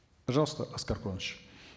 пожалуйста аскар куанышевич